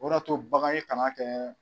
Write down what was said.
O de y'a to bagan ye kana kɛ